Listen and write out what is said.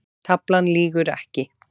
Taflan lýgur ekki